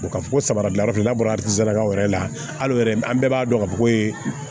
Ka fɔ ko sabara dilan yɔrɔ la n'a bɔra wɛrɛ la hali yɛrɛ an bɛɛ b'a dɔn ka fɔ ko